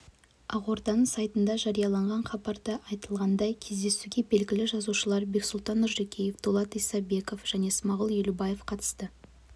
ақорданың сайтында жарияланған хабарда айтылғандай кездесуге белгілі жазушылар бексұлтан нұржекеев дулат исабеков және смағұл елубаев қатысты